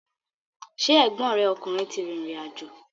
Ṣé ẹ̀gbọ́n rẹ ọkùnrin ti rìrìn àjò?